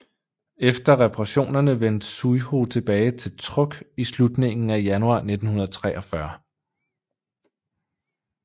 Efter reparationerne vendte Zuihō tilbage til Truk i slutningen af januar 1943